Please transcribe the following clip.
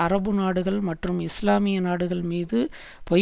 அரபுநாடுகள் மற்றும் இஸ்லாமிய நாடுகள் மீது பொய்